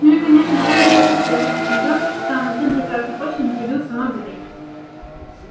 ну и конечно там на поверхности рядом с кремлём в самом центре красной площади находился мавзолей